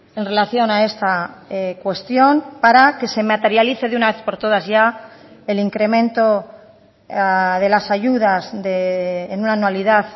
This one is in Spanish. en relación a esta cuestión para que se materialice de una vez por todas ya el incremento de las ayudas en una anualidad